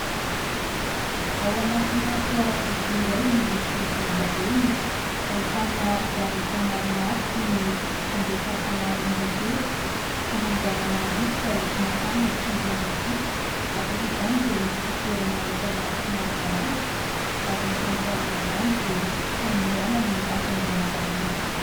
Ao anatina fiarakodia iray miloko volondavenona, ahitana zavatra maromaro toy ny fandefasana onjam-peo, fanamboarana rivotra ho mafana sy mangatsiaka. Ankoatra izany dia misy fitoerana entana somary malalaka ary ny eto amin'ny farany am-bany dia famindrana ny hafainganam-pandeha.